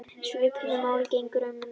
Svipuðu máli gegnir um nærföt.